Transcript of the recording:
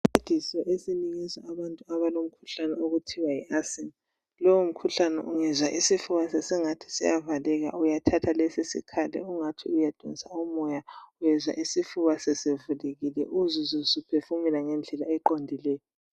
Isincediso esinikezwa abantu abalomkhuhlane okuthiwayiasima. Lowo mkhuhlane ungezwa isifuba sesingathi siyavaleka, uyathatha lesi sikhali ungathi uyadonsa umoya uyezwa isifuba sesivulekile, uzizwe usuphefumula ngendlela eqondileyo.